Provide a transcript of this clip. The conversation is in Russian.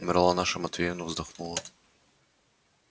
умерла наша матвеевна вздохнула